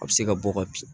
A bɛ se ka bɔ ka bin